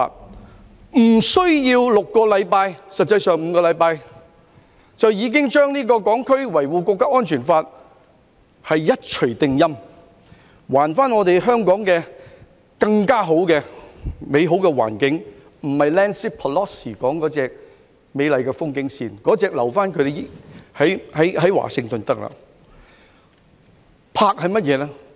無需6星期，實際上是5星期，就已經對這項《香港國安法》一錘定音，還我們香港更美好的環境，不是 Nancy PELOSI 所說的那種"美麗的風景線"，那種留在華盛頓便行了。